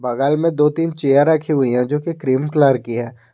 बगल में दो तीन चेयर रखी हुई है जो की क्रीम कलर की है।